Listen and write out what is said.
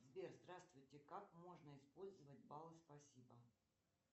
сбер здравствуйте как можно использовать баллы спасибо